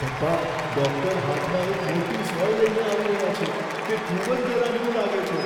પપ્પા, ડૉક્ટર હાથમાં એક મોટી સોય લઈને આવી રહ્યા છે. તે ખૂબ જ ડરામણું લાગે છે.